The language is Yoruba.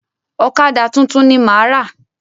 Ọ̀kadà tuntun ni máa rà.